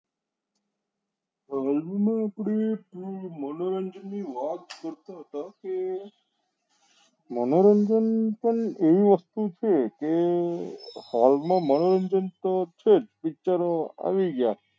હાલ માં આપડી મનોરંજન ની વાત કરતા હતા કે મનોરંજન પણ એવી વસ્તુ છે કે હાલ માં મનોરંજન તો છે જ picture ઓ આવી ગયા